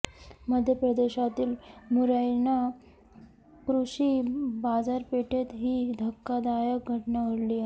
मध्य प्रदेशातील मुरैना कृषी बाजारपेठेत ही धक्कादायक घटना घडली आहे